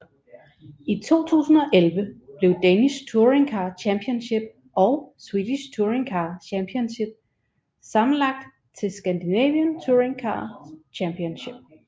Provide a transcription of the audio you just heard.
I 2011 blev Danish Touringcar Championship og Swedish Touring Car Championship sammenlagt til Scandinavian Touring Car Championship